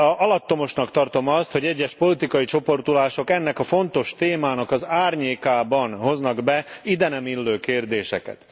alattomosnak tartom azt, hogy egyes politikai csoportosulások ennek a fontos politikai témának árnyékában hoznak be ide nem illő kérdéseket.